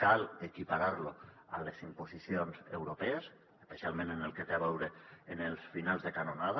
cal equiparar lo a les imposicions europees especialment en el que té a veure amb els finals de canonada